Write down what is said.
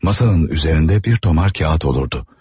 Masanın üzərində bir tomar kağız olurdu.